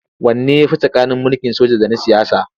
Wanne ya fi tsakanin mulkin soja da na siyasa?